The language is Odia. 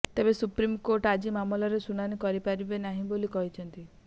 ତେବେ ସୁପ୍ରିମକୋର୍ଟ ଆଜି ମାମଲାର ଶୁଣାଣି କରିପାରିବେ ନାହିଁ ବୋଲି କହିଥିଲେ